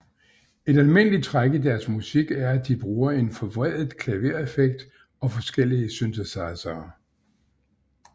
Et almindeligt træk i deres musik er at de bruger en forvredet klavereffekt og forskellige synthesizere